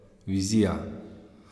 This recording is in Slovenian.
Vizija?